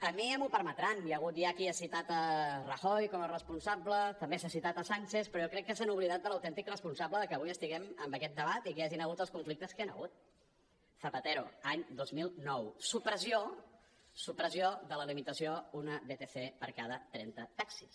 a mi ja m’ho permetran hi ha hagut ja qui ha citat rajoy com a responsable també s’ha citat sánchez però jo crec que s’han oblidat de l’autèntic responsable de que avui estiguem amb aquest debat i que hi hagin hagut els conflictes que hi han hagut zapatero any dos mil nou supressió de la limitació d’un vtc per cada trenta taxis